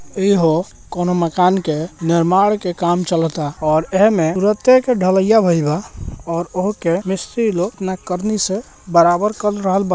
ईहो कोनो मकान के निर्माण के काम चलता और एहमे तुरते के ढलैया भईल बा और ओहके मिस्त्री लोग अपना करनी से बराबर कर रहल बा।